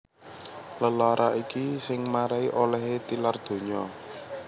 Lelara iki sing marai olèhé tilar donya